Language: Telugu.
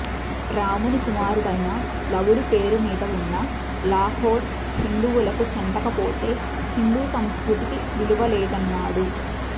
రాముని కుమారుడైన లవుడి పేరు మీద వున్న లాహోర్ హిందువులకు చెందకపోతే హిందూ సంస్కృతికి విలువలేదన్నాడు